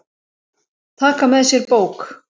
Taka með sér bók.